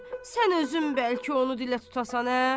Sən özün bəlkə onu dilə tutasan, hə?